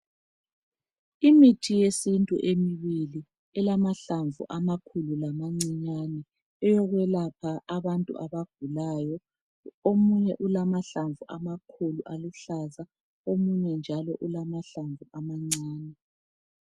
Imithi yesintu emibili elamahlamvu amakhulu lamancinyane. Eyokwelapha abantu abagulayo. Omunye ulamahlamvu amakhulu aluhlaza, omunye njalo ulamahlamvu amancane.